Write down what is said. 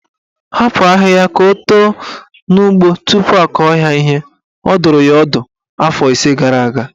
Hapụ ahịhịa ka o too n'ugbo tupu akọ ya ihe" Ọ dụrụ ya ọdụ afọ ise gara aga.